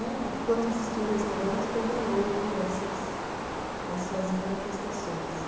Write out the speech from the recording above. Né, enquanto existia o restaurante, também houve essas essas manifestações.